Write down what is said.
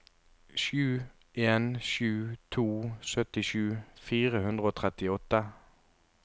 sju en sju to syttisju fire hundre og trettiåtte